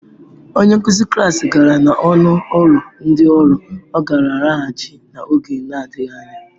Onye nkuzi klas gara n'ọnụ ụlọ ndị ọrụ, ọ ga-alaghachi n'oge na-adịghị anya.